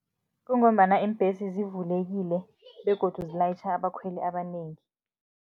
Kungombana iimbhesi zivulekile begodu zilayitjha abakhweli abanengi.